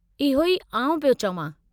इहो ई आउं प्यो चवां।